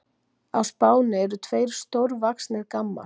Á Spáni eru tveir stórvaxnir gammar.